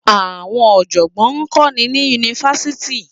Àwọn ọ̀jọ̀gbọ́n ń kọ́ni ní Yunifásítì.